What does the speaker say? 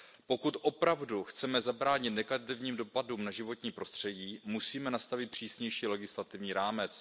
Pokud opravdu chceme zabránit negativním dopadům na životní prostředí, musíme nastavit přísnější legislativní rámec.